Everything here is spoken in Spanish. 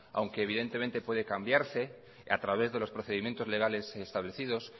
aunque evidentemente puede cambiarse a través de los procedimientos legales establecidos